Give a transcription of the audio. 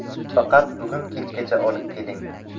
Faqat bugun kechgacha olib keling.